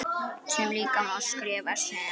sem líka má skrifa sem